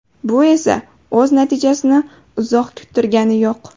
Bu esa o‘z natijasini uzoq kuttirgani yo‘q.